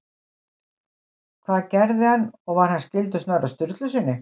Hvað gerði hann og var hann skyldur Snorra Sturlusyni?